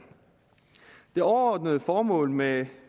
det overordnede formål med